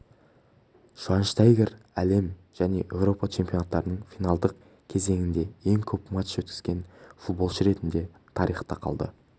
швайнштайгер әлем және еуропа чемпионаттарының финалдық кезеңінде ең көп матч өткізген футболшы ретінде тарихқа енді